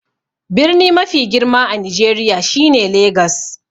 Birni mafi girma a Nijeriya shine Legas.